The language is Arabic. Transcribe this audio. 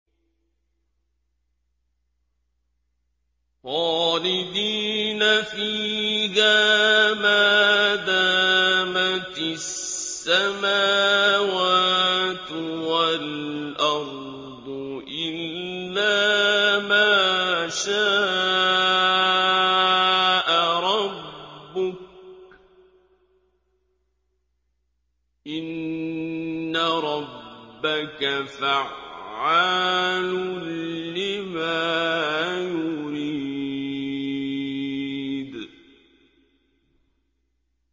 خَالِدِينَ فِيهَا مَا دَامَتِ السَّمَاوَاتُ وَالْأَرْضُ إِلَّا مَا شَاءَ رَبُّكَ ۚ إِنَّ رَبَّكَ فَعَّالٌ لِّمَا يُرِيدُ